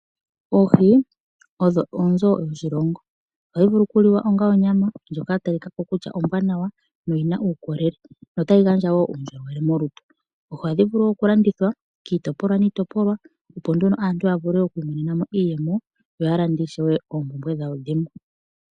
Oohi odho oonzo dhoshilongo. Ohadhi vulu oku liwa onga onyama ndjoka ya talika ko kutya ombwanawa noyi na uukolele.